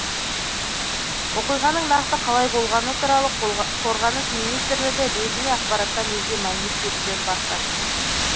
оқиғаның нақты қалай болғаны туралы қорғаныс министрлігі ресми ақпараттан өзге мәлімет беруден бас тартты